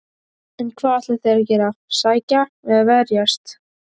En hvað ætla þeir að gera, sækja eða verjast?